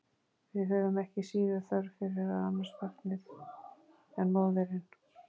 Við höfum ekki síður þörf fyrir að annast barnið en móðirin.